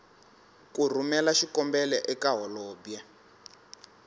ku rhumela xikombelo eka holobye